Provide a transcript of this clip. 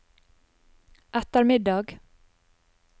ettermiddag